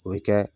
O bɛ kɛ